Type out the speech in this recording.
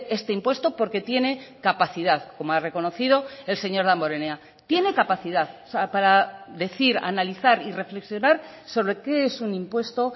este impuesto porque tiene capacidad como ha reconocido el señor damborenea tiene capacidad para decir analizar y reflexionar sobre qué es un impuesto